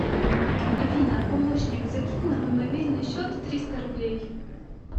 афина помощник закинь на мой мобильный счет триста рублей